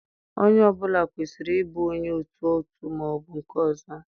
Onye ọ bụla kwesịrị ịbụ onye otu otu ma ọ bụ nke ọzọ.